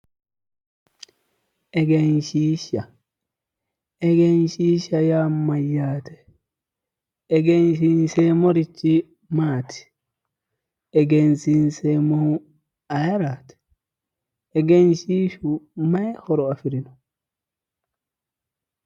Egenshiishsha egenshiishsha yaa mayyaate? Egensiinseemmorichi maati? Egensiinseemmohu ayeraati? Egensiishshu mayii horo afirino?